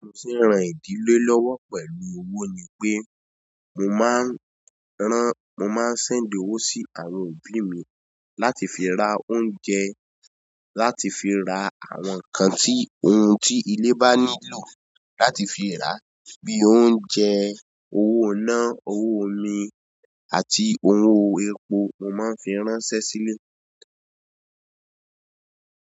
Ohun tí n rán ìdílé lọ́wọ́ pẹ̀lú owó ni pé, mo máa n rán, mo máa ń ṣẹ̀ndi owó sí àwọn òbí mi láti fi ra oúnjẹ, láti fi ra àwọn nǹkan tí ohun tí ìle bá nílò láti fi ra bí i oúnjẹ, owó iná, owó omi àti owó ẹ̀po mo máa ń fi ránṣẹ́ sílé.